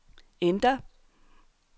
enter